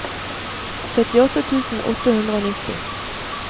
syttiåtte tusen åtte hundre og nitti